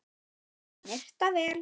Snyrta vel.